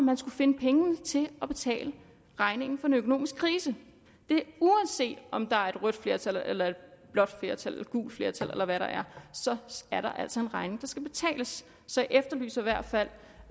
den skulle finde pengene til at betale regningen for en økonomisk krise uanset om der er et rødt flertal eller et blåt flertal eller et gult flertal eller hvad der er så er der altså en regning der skal betales så jeg efterlyser i hvert fald